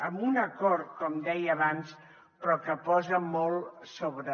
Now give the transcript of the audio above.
amb un acord com deia abans però que posa molt sobre